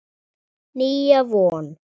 Nýja von.